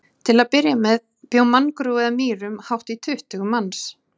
Til að byrja með bjó manngrúi að Mýrum, hátt í tuttugu manns.